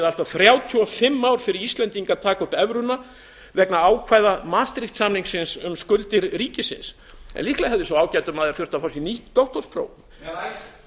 að þrjátíu og fimm ár fyrir íslendinga að taka upp evruna vegna ákvæða maastricht samningsins um skuldir ríkisins líklega hefði sá ágæti maður þurft að fá sér nýtt doktorspróf icesave